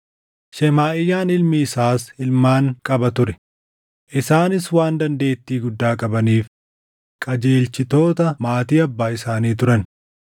Shemaaʼiyaan ilmi isaas ilmaan qaba ture; isaanis waan dandeettii guddaa qabaniif qajeelchitoota maatii abbaa isaanii turan.